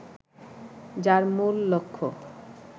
যার মূল লক্ষ্য